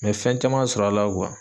N bɛ fɛn caman sɔrɔ a la